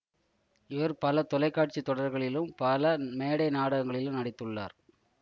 இவர் பல தொலைக்காட்சி தொடர்களிலும் பல மேடை நாடங்களிலும் நடித்துள்ளார்